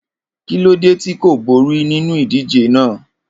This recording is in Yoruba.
Kilode ti ko bori ninu idije naa?